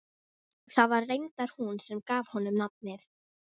Það var reyndar hún sem gaf honum nafnið.